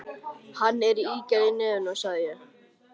Hann er með ígerð í nefinu, sagði ég.